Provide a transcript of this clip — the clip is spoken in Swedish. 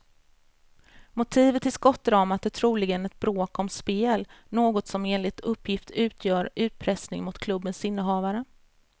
Motivet till skottdramat är troligen ett bråk om spel, något som enligt uppgift utgör utpressning mot klubbens innehavare.